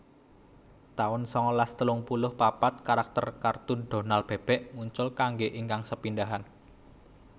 taun sangalas telung puluh papat Karakter kartun Donal Bebek muncul kanggé ingkang sepindhahan